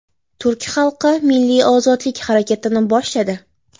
Turk xalqi milliy ozodlik harakatini boshladi.